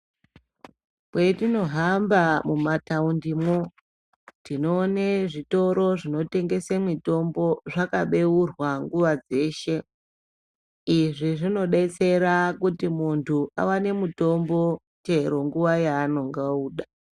Kwetinohamba mumataundimo tinoona zvitoro zvinotengesa mitombo nguwa dzeshe izvi zvinodetsera kuti muntu awane mutombo chero nguwa yanenge amuda.